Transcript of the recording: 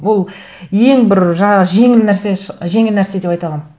бұл ең бір жаңа жеңіл нәрсе жеңіл нәрсе деп айта аламын